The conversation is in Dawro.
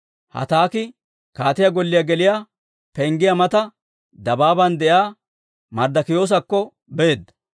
Hataaki kaatiyaa golliyaa geliyaa penggiyaa mata dabaaban de'iyaa Marddokiyoosakko beedda.